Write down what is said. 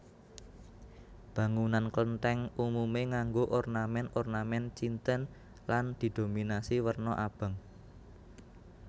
Bangunan Klenthèng umume nganggo ornamen ornamen Cinten lan didominasi werna abang